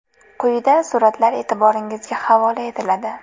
Quyida suratlar e’tiboringizga havola etiladi.